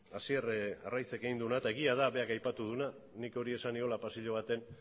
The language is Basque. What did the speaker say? hasier arraizek egin duena eta egia da berak aipatu duna nik hori esan niola pasilo batean